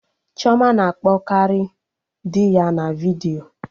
Chioma na-akpọ karị dị ya na vidiyo